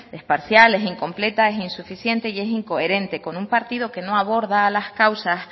es parcial es incompleta es insuficiente y es incoherente con un partido que no aborda las causas